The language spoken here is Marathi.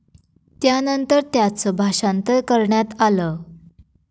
त्यानंतर त्याचं भाषांतर करण्यात आलं.